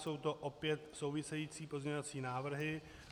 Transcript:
Jsou to opět související pozměňovací návrhy.